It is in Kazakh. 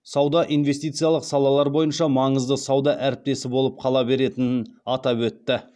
сауда инвестициялық салалар бойынша маңызды сауда әріптесі болып қала беретінін атап өтті